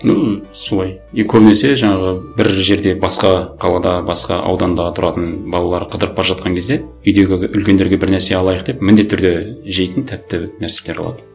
м солай и көбінесе жаңағы бір жерде басқа қалада басқа ауданда тұратын балалары қыдырып бара жатқан кезде үйдегі үлкендерге бір нәрсе алайық деп міндетті түрде жейтін тәтті нәрселер алады